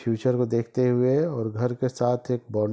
future को देखते हुए और घर के साथ एक --